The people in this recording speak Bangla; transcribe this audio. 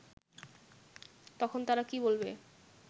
তখন তারা কি বলবে